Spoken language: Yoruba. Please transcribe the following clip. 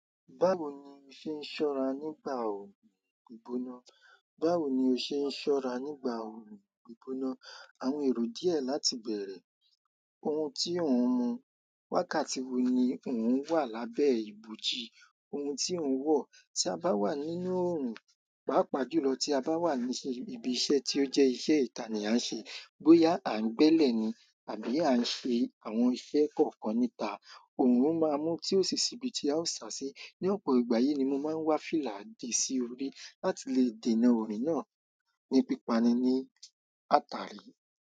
Báwo ni o ṣe ń ṣọ́ra nígbà orò ìgbóná? Báwo ni o ṣe ń ṣọ́ra nígbà orò ìgbóná? Àwọn èrò díẹ̀ láti bẹ̀rẹ̀, ohun tí ọ̀ún mú, wákàtí wo ni ọ̀ún wà lábẹ́ ìbòji, ohun tí ọ̀ún wọ̀. Tí a bá wà nínú orun, pàápàá jùlọ tí a bá wà níbi iṣẹ́ tí ó jẹ́ iṣẹ́ ìta ni a ń ṣe, bóyá à ń gbẹ́lẹ̀ ni àbí à ń ṣe àwọn iṣẹ́ kọ̀ọ̀kan níta, ọ̀run máa mú tí ó sì ṣibi tí a ó sa sí. Ní ọ̀pọ̀ ìgbà yìí ni mo máa ń wá fílà dì sí orí láti lè dènà orun náà ní pípa ni ní ata rí.